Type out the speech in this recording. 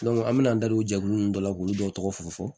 an me na an da don jɛkulu nunnu dɔ la k'olu dɔw tɔgɔ tɔgɔ fu fɔ